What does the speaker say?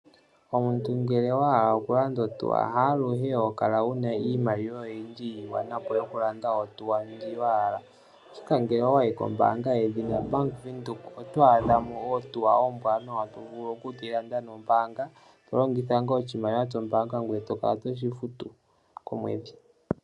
Omuntu ngele wa hala oku landa ohauto, aluhe hokala wuna iimaliwa ya gwana oku landa ohauto ndjoka wa hala, ashike ngele owa yi kombanga ya Bank windhoek oto adhamo ohauto ombwanawa to vulu oku yi landa nombanga, moku longitha oshimaliwa shombanga ngoye to kala to futu komwedhi.